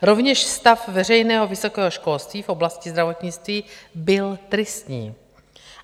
Rovněž stav veřejného vysokého školství v oblasti zdravotnictví byl tristní.